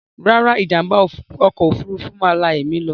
Rárá, ìjàm̀bá ọkọ̀ òfurufú máa la ẹ̀mí lọ.